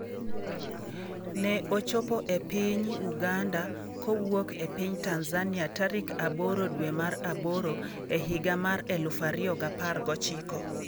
Ne ochopo e piny Uganda kowuok e piny Tanzania tarik 08 dwe mar aboro higa mar 2019.